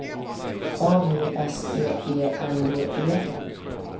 A V S E E N D E